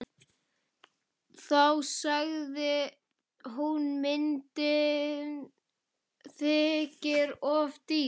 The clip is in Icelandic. Þá sagði hún: Myndin þykir of dýr.